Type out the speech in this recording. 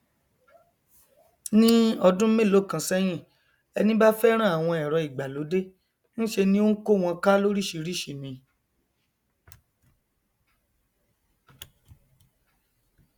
ní ọdún mélòókan sẹhìn ẹni bá fẹràn àwọn ẹrọ ìgbàlódé nṣe ni ó ń kó wọn ká lóríṣìíríṣìí ni